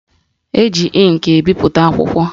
Eji ịnkị ebipụta akwụkwọ